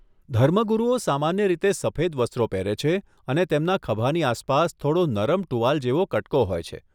ધર્મગુરુઓ સામાન્ય રીતે સફેદ વસ્ત્રો પહેરે છે અને તેમના ખભાની આસપાસ થોડો નરમ ટુવાલ જેવો કટકો હોય છે.